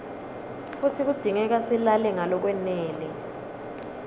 futsi kudzingeka silale ngalokwanele